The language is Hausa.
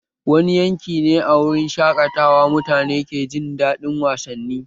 Wani yanki ne a wurin shaƙatawa mutane ke jin daɗin wasanni?